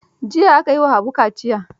Jiya aka yi wa Habibu kaciya.